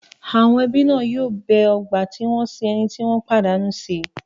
Àwọn ẹbí náà yóò bẹ ọgbà tí wọ́n sin ẹni tí wọ́n pàdánù sí.